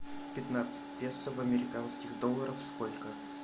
пятнадцать песо в американских долларах сколько